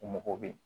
U mago bɛ